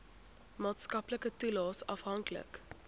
maatskaplike toelaes afhanklik